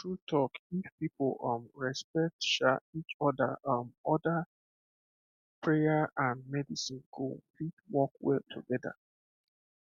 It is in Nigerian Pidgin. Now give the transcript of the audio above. true talk if people um respect um each um other prayer and medicine go fit work well together